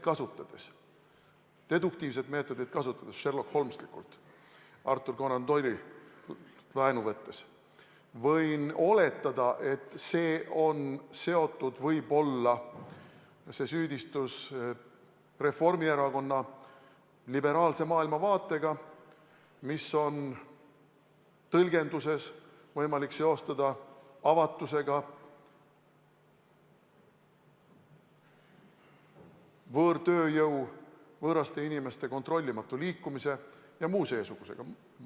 Ma võin deduktiivset meetodit kasutades, sherlockholmeslikult, Arthur Conan Doyle'ilt laenates oletada, et see süüdistus on võib-olla seotud Reformierakonna liberaalse maailmavaatega, mida teatud tõlgenduses on võimalik seostada avatusega, võõrtööjõu, võõraste inimeste kontrollimatu liikumise ja muu seesugusega.